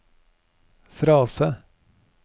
frase